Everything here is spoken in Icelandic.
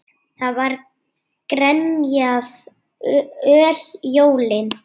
Það var grenjað öll jólin.